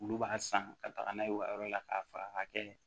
Olu b'a san ka taga n'a ye u ka yɔrɔ la k'a fara ka kɛ